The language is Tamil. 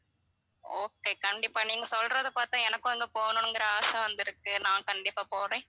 okay கண்டிப்பா நீங்க சொல்றது பார்த்தா எனக்கும் அங்க போகணும்ங்கற ஆசை வந்திருக்கு நான் கண்டிப்பா போறேன்